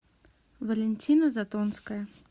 валентина затонская